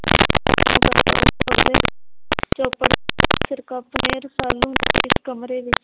ਸਿਰਕਪ ਨੇ ਰਸਾਲੂ ਉਸ ਕਮਰੇ ਵਿੱਚ